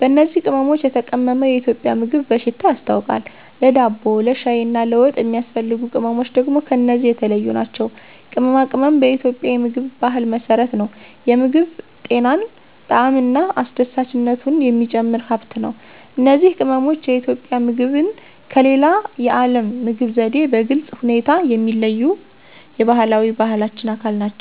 በእነዚህ ቅመሞች የተቀመመ የኢትዮጵያ ምግብ በሽታ ያስታውቃል፣ ለዳቦ፣ ለሻይ እና ለወጥ የሚያስፈልጉ ቅመምች ደግም ከነዚህ የተለዮ ናቸው። ቅመማ ቅመም በኢትዮጵያ የምግብ ባህል መሰረት ነው፤ የምግብ ጤናን፣ ጣዕምን እና አስደሳችነቱን የሚጨምር ሃብት ነው። እነዚህ ቅመሞች የኢትዮጵያ ምግብን ከሌላ የዓለም ምግብ ዘዴ በግልጽ ሁኔታ የሚለዩት የባህላዊ ባህላችን አካል ናቸው።